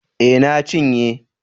Eh na cinye